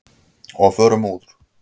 Og förum úr.